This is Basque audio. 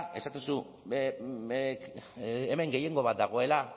esaten duzu hemen gehiengo bat dagoela